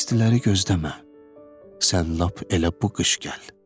İstiləri gözləmə, Sən lap elə bu qış gəl.